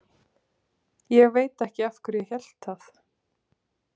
Ég veit ekki af hverju ég hélt það.